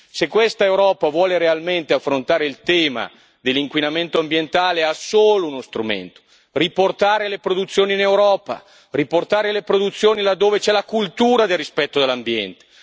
Se questa Europa vuole realmente affrontare il tema dell'inquinamento ambientale ha solo uno strumento riportare le produzioni in Europa, riportare le produzioni là dove c'è la cultura del rispetto dell'ambiente.